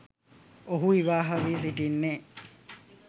ඔහු විවාහ වී සිටින්නේ